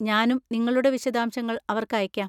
ഞാനും നിങ്ങളുടെ വിശദാംശങ്ങൾ അവർക്ക് അയയ്ക്കാം.